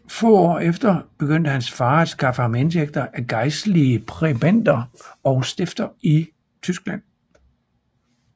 Få år efter begyndte hans far at skaffe ham indtægter af gejstlige præbender og stifter i Tyskland